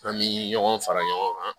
An bɛ ɲɔgɔn fara ɲɔgɔn kan